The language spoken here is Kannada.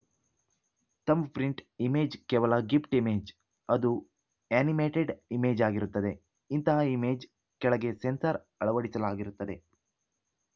ಥಂಬ್‌ಪ್ರಿಂಟ್‌ ಇಮೇಜ್‌ ಕೇವಲ ಗಿಫ್ಟ್‌ ಇಮೇಜ್‌ ಅದು ಆ್ಯನಿಮೇಟೆಡ್‌ ಇಮೇಜಾಗಿರುತ್ತದೆ ಇಂತಹ ಇಮೇಜ್‌ ಕೆಳಗೆ ಸೆನ್ಸಾರ್‌ ಅಳವಡಿಸಲಾಗಿರುತ್ತದೆ